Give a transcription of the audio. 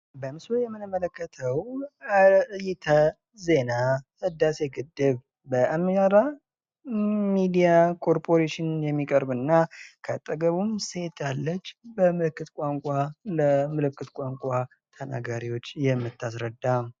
በምስሉ የምንመለከተው አርእስተ ዜና ህዳሴ ግድብ በአማራ ሜድያ ኮርፖሬሽን የሚቀርብ እና ከአጠገቡም ሴት በምልክት ቋንቋ የምታስረዳ።